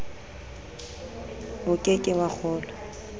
o ke ke wa kgolwa